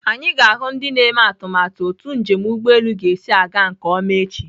Anyị ga-ahụ ndị na-eme atụmatụ otu njem ụgbọelu ga-esi aga nke ọma echi.